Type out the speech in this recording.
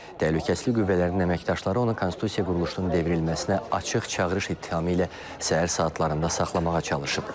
Təhlükəsizlik qüvvələrinin əməkdaşları onu konstitusiya quruluşunun devrilməsinə açıq çağırış ittihamı ilə səhər saatlarında saxlamağa çalışıb.